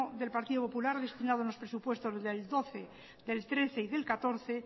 del partido popular ha destinado en los presupuestos del doce del trece y del catorce